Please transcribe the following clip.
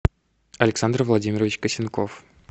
александр владимирович косенков